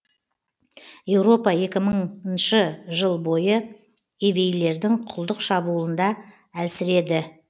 еуропа екі мыңыншы жыл бойы евейлердің құлдық шабуылында әлсіреді